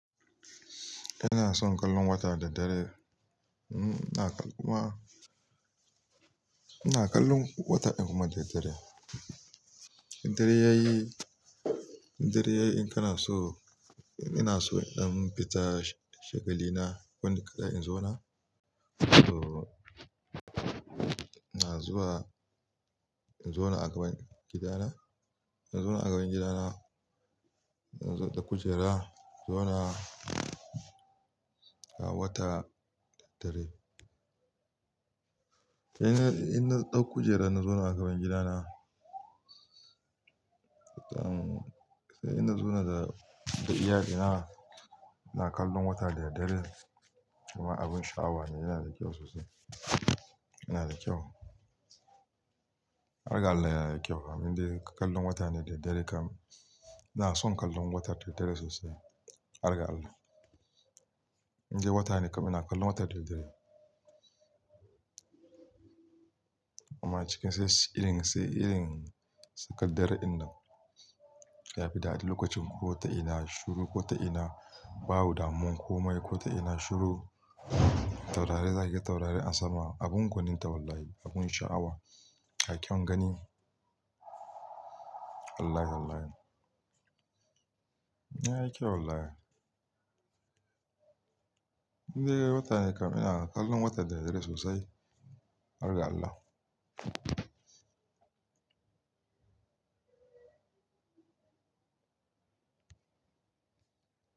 Ina son kallon wata da dare. Hmm, ina kuma-- ina kallon wata din kuma da dare. Da dare yayi, da dare yayi in kana so, ina so idan fita shagali na wai ni kaɗai in zo na. To, ina zuwa in zo na a gaban gidana. In zo na a gaban gidana, ina zo da kujera, zo na a wata da dare. Sai ina, ina ɗau kujera na zo na a gaban gidana. Sai ina zo na da, da iyalina, ina kallon wata da dare kuma abin sha'awa ne, yana da kyau sosai. Yana da kyau. Har ga Allah yayi kyau. Bamin dai kallon wata ne da dare kam. Ina son kallon watan da dare sosai, har ga Allah. In dai wata ne kam ina kallon wata da dare. Kuma cikin sai irin, sai irin sakandare din nan, ya fi dadi lokacin ko ta ina shiru ko ta ina babu damun komai ko ta ina shiru. Taurari zanyi taurari a sama, abin gwaninta wallahi, abun sha'awa. Ga kyau ganni. Wallahi, wallahi, yayi kyau wallahi. Indai wata ne kam ina kallon wata da dare sosai, har ga Allah.